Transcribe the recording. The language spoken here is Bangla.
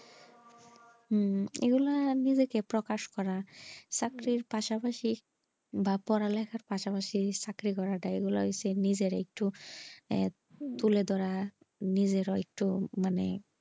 হুম এগুলা নিজেকে প্রকাশ করা চাকরির পাশাপাশি বা পড়ালেখার পাসপাশি চাকরি করা এই গুলা হচ্ছে নিজেরে একটু তুলে ধরা নিজেও একটু মানে,